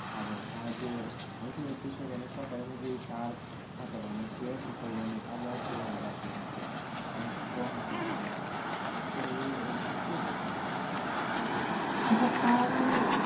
একটা গন্ধ আসে নাক strong একটা গন্ধ আস হয়ে আম